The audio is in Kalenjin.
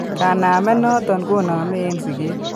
Kanamet noton koname en siget